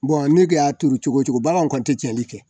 ne de y'a tuuru cogo o cogo baganw kɔni tɛ tiɲɛli kɛ